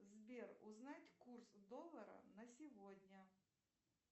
сбер узнать курс доллара на сегодня